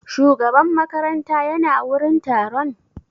Shugaban makaranta ya na wurin taron?